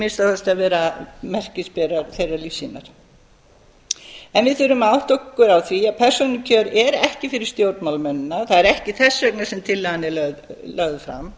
minnsta kosti að vera merkisberar þeirrar lífssýnar en við þurfum að átta okkur á því að persónukjör eru ekki fyrir stjórnmálamennina það er ekki þess vegna sem tillagan er lögð fram